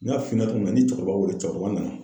N y'a f'i ɲɛna cogo min na ni cɛkɔrɔba wele cɛkɔrɔba nana.